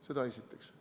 Seda esiteks.